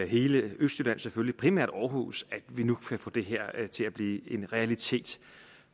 hele østjylland selvfølgelig primært aarhus at vi nu kan få det her til at blive en realitet